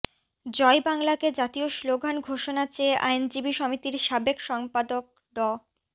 জয় বাংলাকে জাতীয় স্লোগান ঘোষণা চেয়ে আইনজীবী সমিতির সাবেক সম্পাদক ড